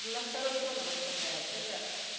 на второй план он отпадает это